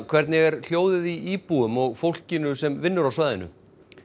hvernig er hljóðið í íbúum og fólkinu sem vinnur á svæðinu